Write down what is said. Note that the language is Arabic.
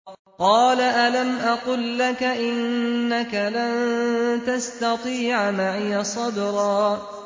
۞ قَالَ أَلَمْ أَقُل لَّكَ إِنَّكَ لَن تَسْتَطِيعَ مَعِيَ صَبْرًا